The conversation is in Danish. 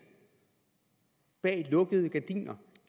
bag lukkede